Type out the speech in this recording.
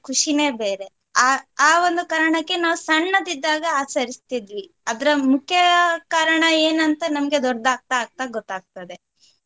ಖುಷಿನೇ ಬೇರೆ ಆ ಆ ಒಂದು ಕಾರಣಕ್ಕೆ ನಾವು ಸಣ್ಣದಿದ್ದಾಗ ಆಚರಿಸ್ತಿದ್ವಿ. ಅದ್ರ ಮುಖ್ಯ ಕಾರಣ ಏನಂಥ ನಮ್ಗೆ ಅದು ದೊಡ್ಡದಾಗ್ತಾ ಆಗ್ತಾ ಗೊತಾಗ್ತದೆ.